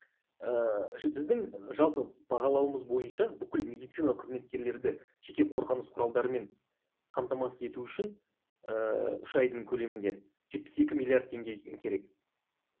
ііі біздің жалпы бағалауымыз бойынша бүкіл медицина қызметкерлерді жеке қорғаныс құралдарымен қамтамасыз ету үшін ііі үш айдың көлемінде жетпіс екі миллиард теңге керек